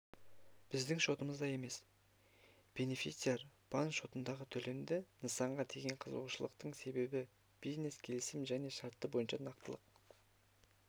біздің шотымызда емес бенефициар банк шотындағы төлемі нысанға деген қызығушылықтың себебі бизнес-келісім және шарттары бойынша нақтылық